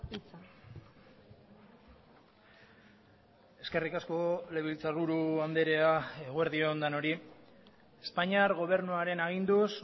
hitza eskerrik asko legebiltzarburu andrea eguerdi on denoi espainiar gobernuaren aginduz